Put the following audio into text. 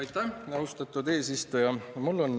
Aitäh, austatud eesistuja!